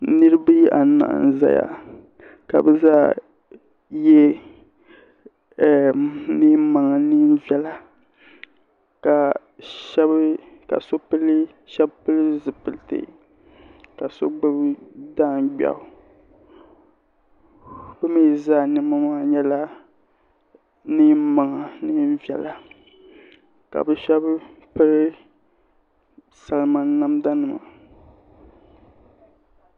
Niriba anahi n zaya ka bɛ zaa ye niɛn'maŋa niɛn'viɛla ka sheba pili zipilti ka so gbibi daangbeɣu bɛ mee zaa niɛma maa nyɛla niɛn'maŋa din viɛla ka bɛ sheba piri salma namda nima.